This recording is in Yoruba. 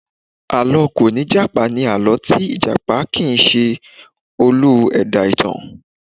À̀lọ́ kòníjàpá ni àlọ́ tí ìjàpá kì í se olú ẹ̀dá ìtàn